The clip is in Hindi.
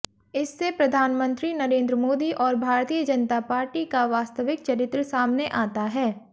इससे प्रधानमंत्री नरेंद्र मोदी और भारतीय जनता पार्टी का वास्तविक चरित्र सामने आता है